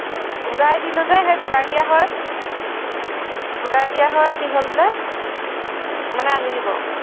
ঘুৰাই দিলো যে, সেই ঘুৰাই দিয়া হয়, ঘুৰাই দিয়া হয়, কি হল বোলে, মানে আনি দিব